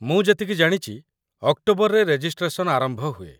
ମୁଁ ଯେତିକି ଜାଣିଚି, ଅକ୍ଟୋବରରେ ରେଜିଷ୍ଟ୍ରେସନ୍‌ ଆରମ୍ଭ ହୁଏ।